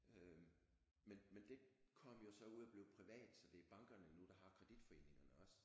Øh men men det kom jo så ud at blive privat så det er bankerne nu der har kreditforeningerne også